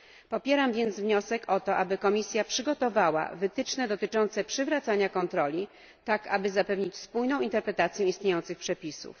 Popieram więc wniosek o to, aby Komisja przygotowała wytyczne dotyczące przywracania kontroli, tak aby zapewnić spójną interpretację istniejących przepisów.